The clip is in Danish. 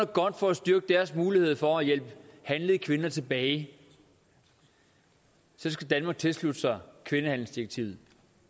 godt for at styrke deres mulighed for at hjælpe handlede kvinder tilbage så skal danmark tilslutte sig kvindehandelsdirektivet